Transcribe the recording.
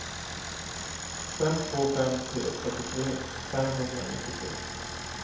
fem två fem tre fyrtiotre femhundranittiotre